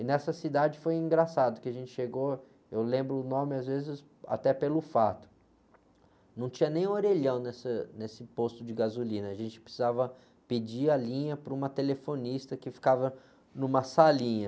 E nessa cidade foi engraçado, que a gente chegou, eu lembro o nome às vezes até pelo fato, não tinha nem orelhão nessa, nesse posto de gasolina, a gente precisava pedir a linha para uma telefonista que ficava numa salinha.